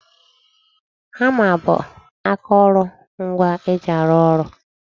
Hama bụ akoro ngwa e ji arụ ụlọ